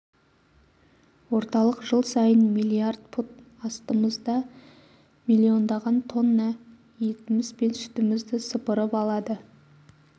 орталық жыл сайын миллиард пұт астығымызды миллиондаған тонна етмз бен сүтмзд сыпырып алады